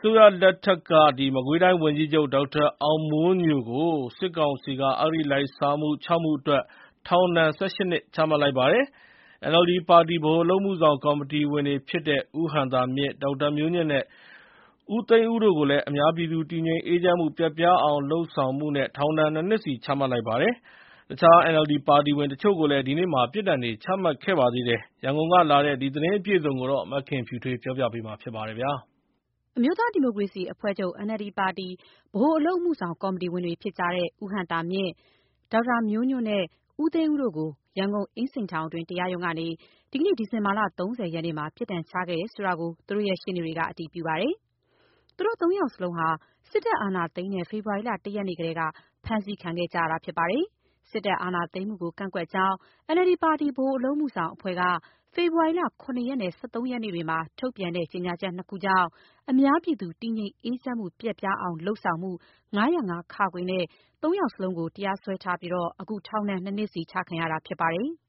စိုးရလက်ထက်က မကွေးတိုင်းဝန်ကြီးချုပ် ဒေါက်တာအောင်မိုးညိုကို စစ်ကောင်စီက အဂတိလိုက်စားမှု ၆ မှုအတွက် ထောင်ဒဏ် ၁၈ နှစ် ချလိုက်ပါတယ်။ NLD ပါတီ ဗဟိုအလုပ်အမှုဆောင်ကော်မတီဝင်တွေဖြစ်တဲ့ ဦးဟံသာမြင့်၊ ဒေါက်တာမျိုးညွန့်နဲ့ ဦးသိန်းဦးတို့ကိုလည်း အများပြည်သူတည်ငြိမ်အေးချမ်းမှု ပျက်ပြားအောင်လုပ်မှုနဲ့ ထောင်ဒဏ် နှစ်နှစ်စီ ချလိုက်ပါတယ်။ တခြား NLD ပါတီဝင်တချို့ကိုလည်း ဒီနေ့ ပြစ်ဒဏ်တွေ ချမှတ်ခဲ့ပါတယ်။ ရန်ကုန်ကလာတဲ့ ဒီသတင်းအပြည့်အစုံကို မခင်ဖြူထွေးက တင်ပြပေးထားပါတယ်။ အမျိုးသားဒီမိုကရေစီအဖွဲ့ချုပ် NLD ပါတီ ဗဟိုအလုပ်အမှုဆောင် ကော်မတီဝင်တွေဖြစ်တဲ့ ဦးဟံသာမြင့်၊ ဒေါက်တာမျိုးညွန့်နဲ့ ဦးသိန်းဦးတို့ကို ရန်ကုန်အင်းစိန်ထောင်တွင်း တရားရုံးကနေ ဒီနေ့ ဒီဇင်ဘာ ၃၀ ရက်နေ့မှာ ပြစ်ဒဏ်ချခဲ့တယ်ဆိုတာ သူတို့ရှေ့နေတွေက အတည်ပြုပါတယ်။ သူတို့ သုံးယောက်လုံးဟာ စစ်တပ်အာဏာသိမ်းတဲ့ ဖေဖော်ဝါရီလ ၁ ရက်နေ့ကတည်းက ဖမ်းဆီးခံခဲ့ကြရတာပါ။ စစ်တပ်အာဏာသိမ်းမှုကိုကန့်ကွက်ကြောင်း NLD ပါတီ ဗဟိုအလုပ်အမှုဆောင်အဖွဲ့က ဖေဖော်ဝါရီလ ၇ ရက်နဲ့ ၁၃ ရက်နေ့တွေမှာ ထုတ်ပြန်တဲ့ ကြေညာချက် နှစ်ခုကြောင့် အများပြည်သူတည်ငြိမ်အေးချမ်းမှု ပျက်ပြားအောင် လုပ်ဆောင်မှု ၅၀၅-ခ နဲ့ သုံးယောက်လုံး တရားစွဲခံရပြီး အခု ထောင်ဒဏ် နှစ်နှစ်စီ ချခံရတာဖြစ်ပါတယ်။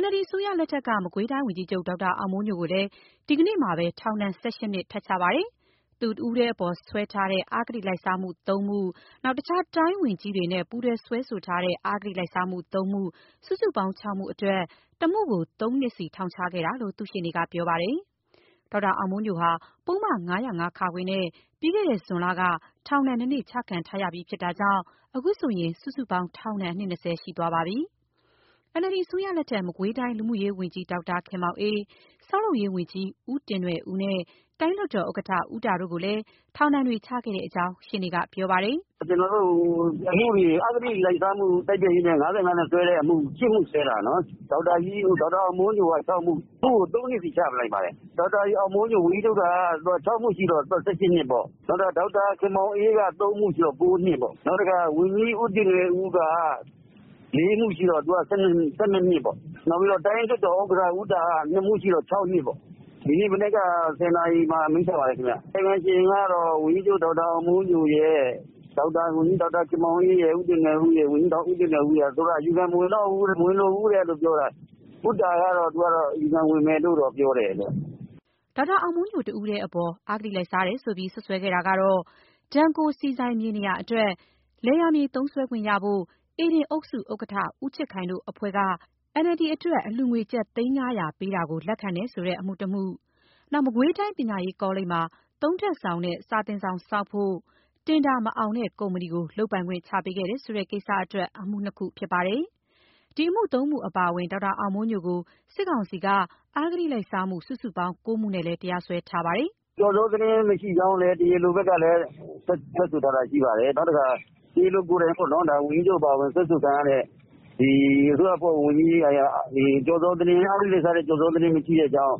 NLD အစိုးရလက်ထက်က မကွေးတိုင်းဝန်ကြီးချုပ် ဒေါက်တာအောင်မိုးညိုကိုလည်း ဒီနေ့မှာပဲ ထောင်ဒဏ် ၁၈ နှစ် ထပ်ချပါတယ်။ သူတဦးတည်းအပေါ် စွဲထားတဲ့ အဂတိလိုက်စားမှု ၃ မှု၊ တခြားတိုင်းဝန်ကြီးတွေနဲ့ ပူးတွဲစွဲဆိုထားတဲ့ အဂတိလိုက်စားမှု ၃ မှု၊ စုစုပေါင်း ၆ မှုအတွက် တမှုကို ၃ နှစ်စီ ထောင်ချခဲ့တာလို့ သူ့ရှေ့နေက ပြောပါတယ်။ ဒေါက်တာအောင်မိုးညိုဟာ ပုဒ်မ ၅၀၅ နဲ့ ပြီးခဲ့တဲ့ဇွန်လက ထောင်ဒဏ်နှစ်နှစ် ချခံထားရပြီးဖြစ်တာကြောင့် အခုဆိုရင် စုစုပေါင်းထောင်ဒဏ် နှစ် ၂၀ ရှိသွားပါပြီ။ NLD အစိုးရလက်ထက် မကွေးတိုင်း လူမှုရေးဝန်ကြီး ဒေါက်တာခင်မောင်အေး၊ ဆောက်လုပ်ရေးဝန်ကြီး ဦးတင်နွယ်ဦးနဲ့ တိုင်းလွှတ်တော်ဥက္ကဋ္ဌ ဦးတာတို့ကိုလည်းထောင်ဒဏ်တွေ ချခဲ့တဲ့အကြောင်း ရှေ့နေကပြောပါတယ်။ "အဂတိလိုက်စားမှု တိုက်ဖျက်ရေး ၅၅ နဲ့က ၈ မှုစွဲတာနော်။ ဒေါက်တာအောင်မိုးညို တယောက် တည်းက ၆မှု၊ တမှုကို သုံးနှစ်စီ ချလိုက်ပါတယ်။ ၆ မှုရှိတော့ ၁၈ နှစ်ပေါ့။ နောက် ဒေါက်တာခင်မောင်အေးက ၃ မှုဆိုတော့ ၉ နှစ်ပေါ့။ နောက်ဦးတင်နွယ်ဦးက ၄ မှုရှိတော့ သူက ၁၂ နှစ်ပေါ့။ နောက် တိုင်းလွှတ်တော်ဥက္ကဋ္ဌ ဦးတာက နှစ်မှုရှိတော့ ၆ နှစ်ပေါ့။ ဒီမနက် ၁၀ နာရီလောက် မှာ အမိန့်ချပါတယ်။ ကာယကံရှင် ဒေါက်တာအောင်မိုးညို၊ ဒေါက်တာခင်မောင်အေး၊ ဦးတင်နွယ်ဦးတို့ကတော့ အယူခံမဝင်တော့ဘူးပြောတာ။ ဦးတာကတော့ အယူခံဝင်မယ်ပြောတယ်။" ဒေါက်တာအောင်မိုးညို တယောက်တည်းအပေါ် အဂတိလိုက်စားတယ်ဆိုပြီး စွပ်စွဲခဲ့တာတွေကတော့ Denko ဆီဆိုင် မြေနေရာအတွက် လယ်ယာမြေ သုံးစွဲခွင့်ရဖို့ ဧဒင်အုပ်စုဥက္ကဋ္ဌ ဦးချစ်ခိုင်တို့ အဖွဲ့က NLD အတွက် အလှူငွေ ကျပ် သိန်း ၅၀၀ ပေးတာကို လက်ခံတယ်ဆိုတဲ့ အမှုတမှု၊ မကွေးပညာရေးကောလိပ်မှာ သုံးထပ်ဆောင်နဲ့ စာသင်ဆောင်ဆောက်ဖို့ တင်ဒါမအောင်တဲ့ကုမ္ပဏီကို လုပ်ပိုင်ခွင့် ချပေးခဲ့တယ်ဆိုတဲ့ကိစ္စအတွက် အမှု နှစ်ခုတို့ ဖြစ်ပါတယ်။ ဒီအမှု သုံးမှုအပါအဝင် ဒေါက်တာအောင်မိုးညိုကို စစ်ကောင်စီက အဂတိလိုက်စားမှု စုစုပေါင်း ၉ မှုနဲ့ တရားစွဲထားတာပါ။ "ကျော်ဇောသတင်းမရှိကြောင်းလည်း တရားလိုဘက်က ထွက်တယ်။ တရားလိုကိုယ်တိုင်ပြောတာပါ။ ဝန်ကြီးအပါအဝင် စွဲဆိုခံရတဲ့သူတွေဟာ အဂတိလိုက်စားမှု ကျော်ဇောသတင်းမရှိတဲ့အကြောင်း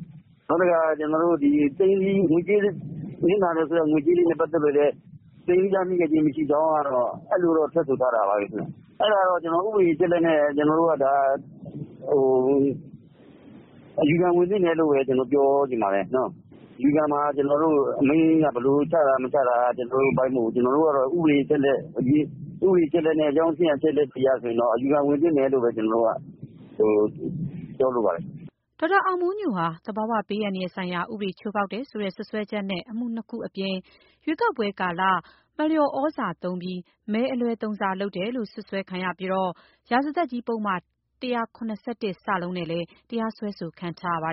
၊ နောက်တခုက နစ်နာတယ်ဆိုတဲ့ ငွေကြေးတွေနဲ့ပတ်သက်လို့ လည်း သိမ်းဆည်းရမိတာမရှိကြောင်း အဲလိုတော့ ထွက်ဆိုထားခဲ့တာပါပဲ။ အဲတော့ ကျနော်တို့ကတော့ ဥပဒေအချက်အလက်တွေ အရ အယူခံဝင်သင့်တယ်လို့ ပြောချင်ပါတယ်။ အယူခံမှာ အမိန့်က ဘယ်လိုချတာမချတာ ကျနော်တို့အပိုင်းမဟုတ်ဘူး။ ဥပဒေအချက်အလက် အကြောင်းအချင်းအရာ အချက်အလက်အရတော့ အယူခံဝင်သင့်တယ်လို့ပဲ ကျနော်ကတော့ပြောလိုပါတယ်။” ဒေါက်တာအောင်မိုးညိုဟာ သဘာဝဘေးအန္တရာယ်ဆိုင်ရာဥပဒေ ချိုးဖောက်တယ်ဆိုတဲ့ စွပ်စွဲချက်နဲ့ အမှုနှစ်ခုအပြင် ရွေးကောက်ပွဲကာလ မလျော်ဩဇာသုံးပြီး မဲအလွဲသုံးစားလုပ်တယ်လို့ စွပ်စွဲပြီးတော့ ရာဇသတ်ကြီးပုဒ်မ ၁၇၁ နဲ့လည်းတရားစွဲခံထားရပါ